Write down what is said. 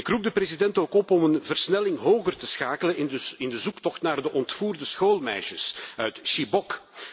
Ik roep de president dan ook op om een versnelling hoger te schakelen in de zoektocht naar de ontvoerde schoolmeisjes uit Chibok.